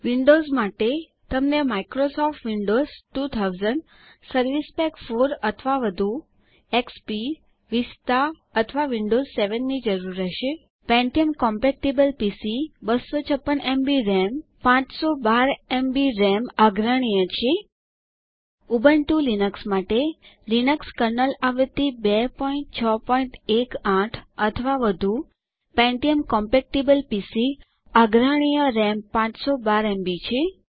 Windows માટે તમને Microsoft Windows 2000 service pack 4 અથવા વધુ એક્સપી વિસ્ટા અથવા વિન્ડોવ્સ 7 ની જરૂર રહેશે પેન્ટીયમ કોમ્પેટીબલ પીસી 256એમબી રામ 512 એમબી રામ આગ્રહણીય છે ઉબુન્ટુ લિનક્સ માટે લીનક્સ કર્નલ આવૃત્તિ 2618 અથવા વધુ પેન્ટીયમ કોમ્પેટીબલ પીસી આગ્રહણીય રામ 512એમબી છે